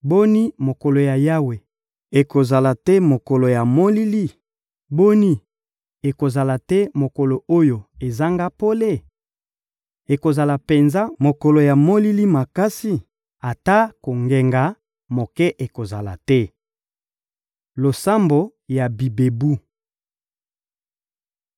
Boni, mokolo ya Yawe ekozala te mokolo ya molili? Boni, ekozala te mokolo oyo ezanga pole? Ekozala penza mokolo ya molili makasi, ata kongenga moke ekozala te. Losambo ya bibebu